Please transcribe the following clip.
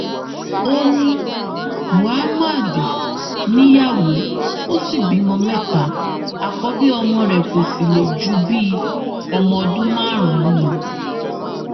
ó ní mohammed níyàwó ó sì bímọ mẹta àkọbí ọmọ rẹ kó sì le ju bíi ọmọ ọdún márùnún lọ